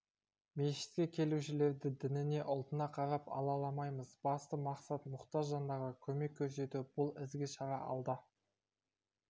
мешітке келушілерді дініне ұлтына қарап алаламаймыз басты мақсат мұқтаж жандарға көмек көрсету бұл ізгі шара алда